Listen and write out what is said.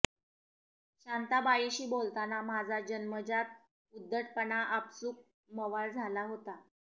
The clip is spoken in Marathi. शांताबाईंशी बोलताना माझा जन्मजात उद्धटपणा आपसूक मवाळ झाला होता